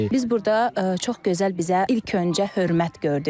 Biz burda çox gözəl bizə ilk öncə hörmət gördük.